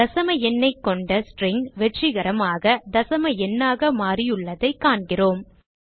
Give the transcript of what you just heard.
தசம எண்ணைக் கொண்ட ஸ்ட்ரிங் வெற்றிகரமாக தசம எண்ணாக மாறியுள்ளதைக் காண்கிறோம்